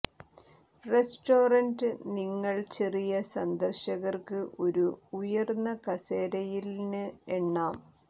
restaurant നിങ്ങൾ ചെറിയ സന്ദർശകർക്ക് ഒരു ഉയർന്ന കസേരയിൽ ന് എണ്ണാം